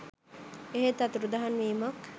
එහෙත් අතුරුදන් වීමක්